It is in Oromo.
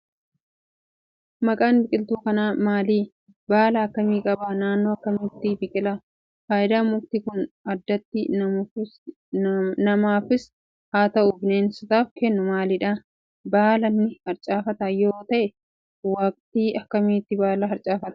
Maqaan biqiltuu kanaa maali? Baala akkamii qaba? Naannoo akkamiitti biqila? Faayidaa mukti kun addatti namaafus haa ta'u, bineensotaaf kennu maalidha? Baala ni harcaafata yoo ta'e waqtii akkamiitti baala harcaafachuu danda'a?